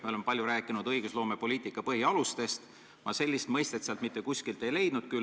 Me oleme palju rääkinud õigusloomepoliitika põhialustest, sellest dokumendist ma sellist mõistet ei leidnud.